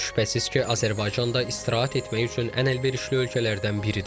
Heç şübhəsiz ki, Azərbaycan da istirahət etmək üçün ən əlverişli ölkələrdən biridir.